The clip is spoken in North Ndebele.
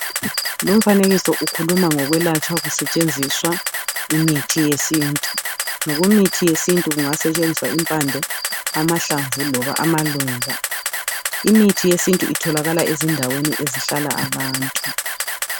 Lumfanekiso ukhuluma ngezokwelatshwa kusetshenziswa imithi yesintu ngokwemithi yesintu kungasetshenziswa impande amahlamvu loba amaluba imithi yesintu itholakala endaweni ezihlala abantu